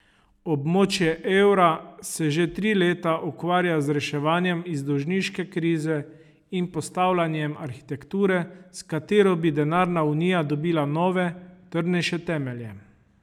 Območje evra se že tri leta ukvarja z reševanjem iz dolžniške krize in postavljanjem arhitekture, s katero bi denarna unija dobila nove, trdnejše temelje.